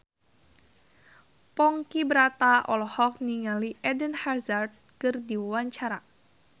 Ponky Brata olohok ningali Eden Hazard keur diwawancara